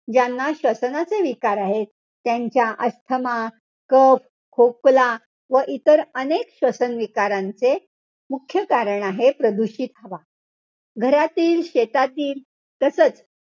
ज्यांना श्वसनाचे विकार आहेत, त्यांच्या अस्थमा, कफ, खोकला व इतर अनेक सतत विकारांचे मुख्य कारण आहे, हे प्रदूषित हवा. घरातील, शेतातील तसंच,